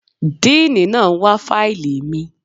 Díìní náà ń wá fáìlì mi.